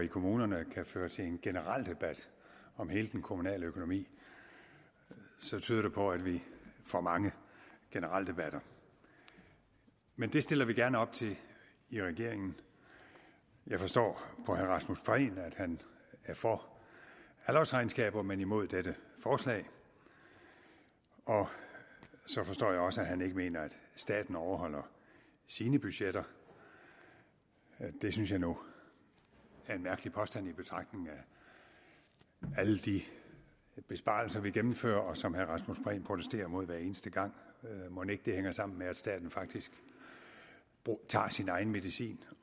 i kommunerne kan føre til en generaldebat om hele den kommunale økonomi så tyder det på at vi får mange generaldebatter men det stiller vi gerne op til i regeringen jeg forstår på herre rasmus prehn at han er for halvårsregnskaber men imod dette forslag og så forstår jeg også at han ikke mener at staten overholder sine budgetter det synes jeg nu er en mærkelig påstand i betragtning af alle de besparelser vi gennemfører og som herre rasmus prehn protesterer mod hver eneste gang mon ikke det hænger sammen med at staten faktisk tager sin egen medicin